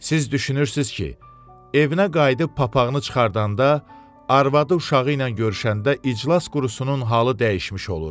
Siz düşünürsünüz ki, evinə qayıdıb papaqını çıxardanda, arvadı uşağı ilə görüşəndə iclas qurusunun halı dəyişmiş olur.